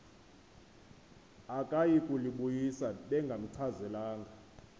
akayi kulibuyisa bengamchazelanga